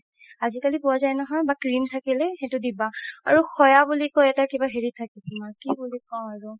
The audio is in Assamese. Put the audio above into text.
আজিকালি পোৱা যাই নহয় বা cream থাকিলে সেইটো দিবা আৰু সৱা বুলি কই এটা হেৰি থাকে তুমাৰ কি বুলি কও আৰু